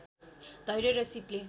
धैर्य र सीपले